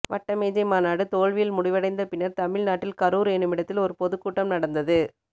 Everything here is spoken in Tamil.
வட்டமேஜை மாநாடு தோல்வியில் முடிவடைந்த பின்னர் தமிழ்நாட்டில் கரூர் எனுமிடத்தில் ஒரு பொதுக்கூட்டம் நடந்தது